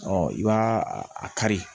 Ɔ i b'a a kari